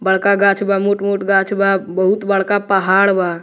बड़का गाक्ष बा मोट-मोट गाक्ष बा बहुत बड़का पहाड़ बा।